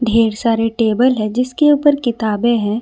ढेर सारे टेबल है जिसके ऊपर किताबें हैं।